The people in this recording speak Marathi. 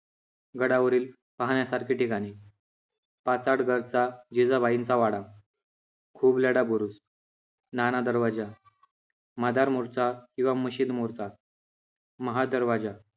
गडावरील पाहण्यासारखी ठिकाणे, पाचाडगड चा जिजाबाईंचा वाडा, खुबलढा बुरुज, नाणा दरवाजा, मादार मोरचा किंवा मशीद मोरचा, महादरवाजा